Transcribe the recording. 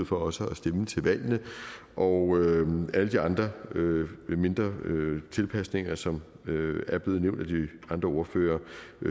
for også at stemme til valgene og alle de andre mindre tilpasninger som er blevet nævnt af de andre ordførere